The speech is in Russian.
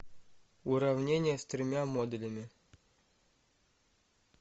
уравнение с тремя модулями